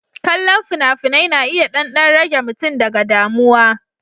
Kallon fina-finai na iya ɗan ɗan rage mutum daga damuwa.